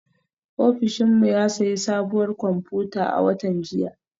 Ofishin mu ya sayi sabuwar kwamfuta a watan jiya